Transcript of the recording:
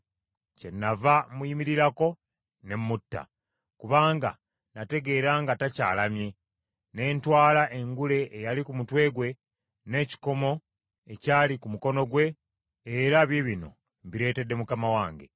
“Kyennava muyimirirako ne mutta, kubanga n’ategeera nga takyalamye. Ne ntwala engule eyali ku mutwe gwe n’ekikomo ekyali ku mukono gwe, era biibino mbireetedde mukama wange.”